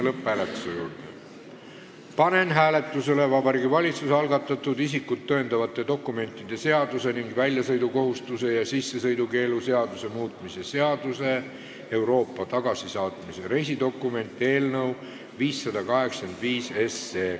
Panen hääletusele Vabariigi Valitsuse algatatud isikut tõendavate dokumentide seaduse ning väljasõidukohustuse ja sissesõidukeelu seaduse muutmise seaduse eelnõu 585.